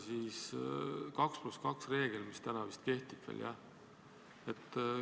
See 2 + 2 reegel täna vist veel kehtib, jah?